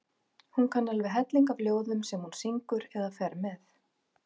Hún kann alveg helling af ljóðum sem hún syngur eða fer með.